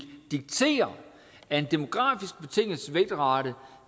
diktere af en demografisk betinget